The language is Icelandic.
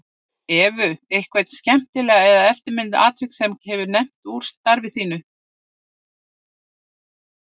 Eru einhver skemmtileg eða eftirminnileg atvik sem þú getur nefnt úr starfi þínu?